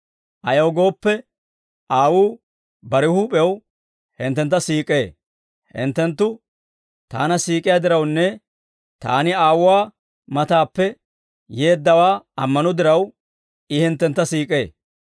Ayaw gooppe, Aawuu bare huup'ew hinttentta siik'ee; hinttenttu Taana siik'iyaa dirawunne Taani Aawuwaa matappe yeeddawaa ammano diraw, I hinttentta siik'ee.